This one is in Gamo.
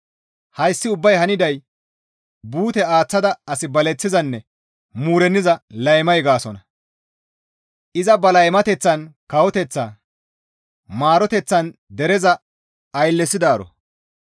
Hayssi ubbay haniday buute aaththada as baleththizanne muurenniza laymay gaasonna. Iza ba laymateththan kawoteththa, maroteththan dereza ayllesidaaro.